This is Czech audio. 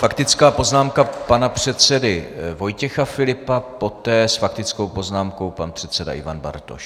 Faktická poznámka pana předsedy Vojtěcha Filipa, poté s faktickou poznámkou pan předseda Ivan Bartoš.